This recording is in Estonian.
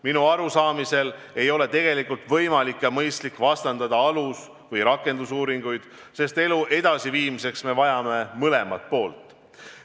Minu aruaamist mööda ei ole tegelikult võimalik ega mõistlik vastandada alus- või rakendusuuringuid, sest elu edasiviimiseks vajame mõlemat poolt.